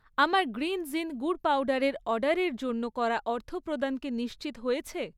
আমার গ্রিনজ ইন গুড় পাউডারের অর্ডারের জন্য করা অর্থপ্রদান কি নিশ্চিত হয়েছে?